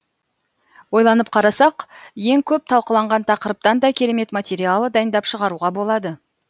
ойланып қарасақ ең көп талқыланған тақырыптан да керемет материал дайындап шығаруға болады